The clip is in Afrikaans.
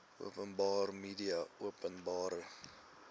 openbare media openbare